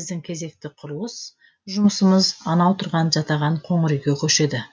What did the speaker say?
біздің кезекті құрылыс жұмысымыз анау тұрған жатаған қоңыр үйге көшеді